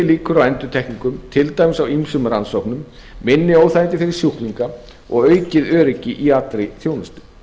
líkur á endurtekningum til dæmis á ýmsum rannsóknum minni óþægindi fyrir sjúklinga og aukið öryggi í alla þjónustu